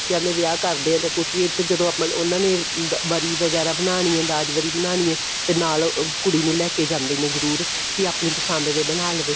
ਬੱਚਿਆ ਦੇ ਵਿਆਹ ਕਰਦੇ ਹਾਂ ਜਾਂ ਕੁੱਝ ਵੀ ਜਦੋਂ ਆਪਾਂ ਉਹਨਾ ਨੇ ਵਰੀ ਵਗੈਰਾ ਬਣਾਨੀ ਏ ਦਾਜ ਵਰੀ ਬਣਾਨੀ ਏ ਤੇ ਨਾਲ ਕੁੜੀ ਨੂੰ ਲੈਕੇ ਜਾਂਦੇ ਨੇ ਜਰੂਰ ਕਿ ਆਪਣੀ ਪਸੰਦ ਦੇ ਬਣਾ ਲਵੇ